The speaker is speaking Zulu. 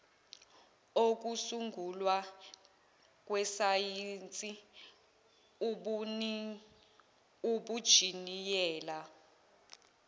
okusungulwa kwesayensi ubunjiniyela